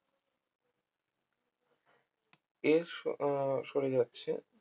এর স আহ সরে যাচ্ছে